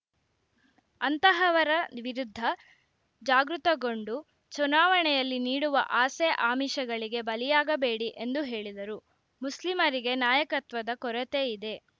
ಅಂತಹವರ ವಿರುದ್ಧ ಜಾಗೃತಗೊಂಡು ಚುನಾವಣೆಯಲ್ಲಿ ನೀಡುವ ಆಸೆ ಆಮಿಷಗಳಿಗೆ ಬಲಿಯಾಗಬೇಡಿ ಎಂದು ಹೇಳಿದರು ಮುಸ್ಲಿಂರಿಗೆ ನಾಯಕತ್ವದ ಕೊರತೆಯಿದೆ